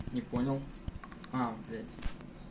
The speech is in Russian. не понял а блять